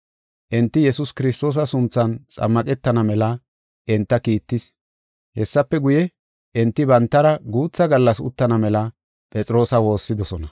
Enti Yesuus Kiristoosa sunthan xammaqetana mela enta kiittis. Hessafe guye, enti bantara guutha gallas uttana mela Phexroosa woossidosona.